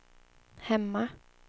hemma